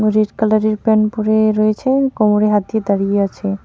Red কালারের pant পরে রয়েছে কোমরে হাত দিয়ে দাঁড়িয়ে আছে.